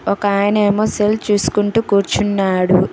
ఒకాయనేమో cell చూసుకుంటూ కూర్చున్నాడు.